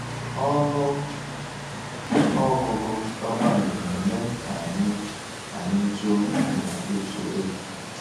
Ọnụ ọgụgụ kpakpando na-eme ka anyị anyị juo n’ịtụ egwu.